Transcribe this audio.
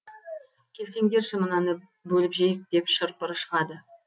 келсеңдерші мынаны бөліп жейік деп шыр пыры шығады